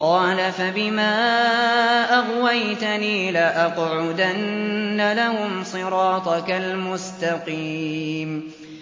قَالَ فَبِمَا أَغْوَيْتَنِي لَأَقْعُدَنَّ لَهُمْ صِرَاطَكَ الْمُسْتَقِيمَ